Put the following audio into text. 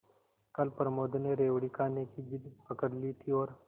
कल प्रमोद ने रेवड़ी खाने की जिद पकड ली थी और